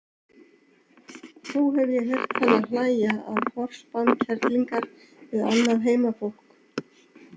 Þó hef ég heyrt hana hlæja að forspám kerlingar við annað heimafólk.